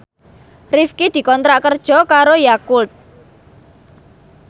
Rifqi dikontrak kerja karo Yakult